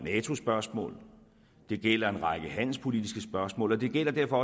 nato spørgsmål det gjaldt en række handelspolitiske spørgsmål og det gjaldt derfor